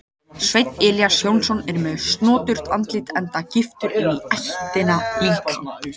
Sveinn Elías Jónsson er með snoturt andlit enda giftur inní ættina líka.